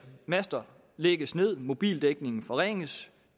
master lægges ned mobildækningen forringes